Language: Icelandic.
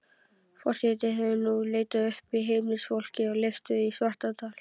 Forseti hefur nú leitað uppi heimilisfólkið á Leifsstöðum í Svartárdal.